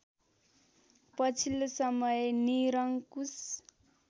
पछिल्लो समय निरंकुश